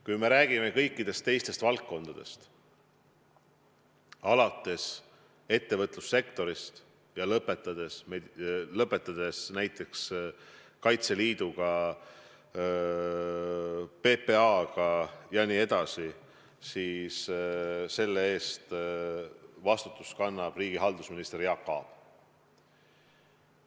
Kui me räägime kõikidest teistest valdkondadest, alates ettevõtlussektorist ja lõpetades näiteks Kaitseliiduga, PPA-ga jne, siis selle eest kannab vastutust riigihalduse minister Jaak Aab.